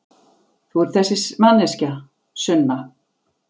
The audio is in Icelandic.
Þú ert þessi manneskja, Sunna.